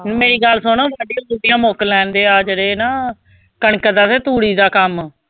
ਮੇਰੀ ਗੱਲ ਸੁਣ ਵਾਢੀਆਂ ਵੂਡੀਆਂ ਮੁੱਕ ਲੈਣਦੇ ਆਹ ਜਿਹੜੇ ਨਾ ਕਣਕ ਦਾ ਵੇ ਤੂੜੀ ਦਾ ਕੰਮ।